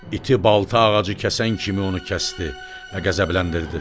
İti balta ağacı kəsən kimi onu kəsdi və qəzəbləndirdi.